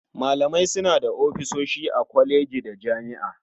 Malamai suna da ofisoshi a kwalejoji da jami'o'i.